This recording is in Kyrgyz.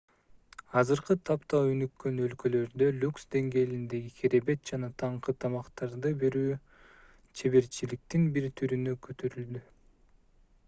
азыркы тапта өнүккөн өлкөлөрдө люкс деңгээлиндеги керебет жана таңкы тамактарды берүү чеберчиликтин бир түрүнө көтөрүлдү